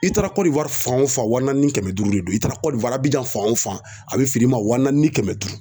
I taara Côte d'Ivoire fan o fan wa naani ni kɛmɛ duuru de don, i taara Côte-d'Ivoire Abijan fan o fan a be feer'i ma wa naani ni kɛmɛ duuru.